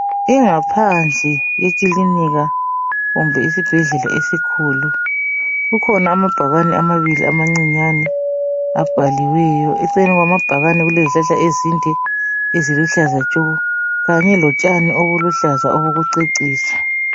Ingaphandle ekilinika kumbe isibhedlela esikhulu, kukhona amabhakane amabili amancinyane abhaliweyo. Eceleni kwamabhakane kulezihlahla ezinde eziluhlaza tshoko, kanye lotshani obuluhlaza obokucecisa.